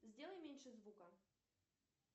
сделай меньше звука